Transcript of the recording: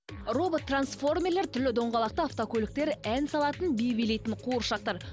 робот трансформерлер түрлі доңғалақты автокөліктер ән салатын би билейтін қуыршақтар